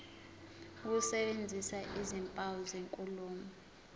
ukusebenzisa izimpawu zenkulumo